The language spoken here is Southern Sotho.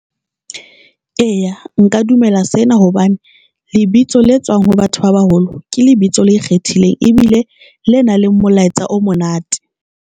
Eya, nka dumela sena hobane lebitso le tswang ho batho ba baholo ke lebitso le ikgethileng ebile le nang le molaetsa o monate.